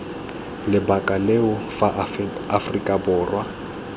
lebaka leo fa aforika borwa